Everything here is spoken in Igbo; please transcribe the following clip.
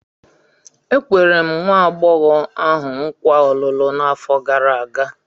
E kwere m nwa agbọghọ ahụ nkwa ọlụlụ n'afọ gara aga.